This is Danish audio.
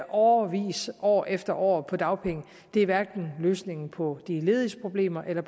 årevis år efter år på dagpenge er hverken løsningen på de lediges problemer eller